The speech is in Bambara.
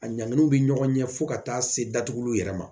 A ɲanginiw bɛ ɲɔgɔn ɲɛ fo ka taa se datuguliw yɛrɛ ma